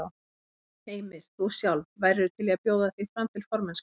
Heimir: Þú sjálf, værirðu til í að bjóða þig fram til formennsku?